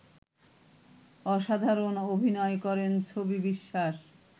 অসাধারণ অভিনয় করেন ছবি বিশ্বাস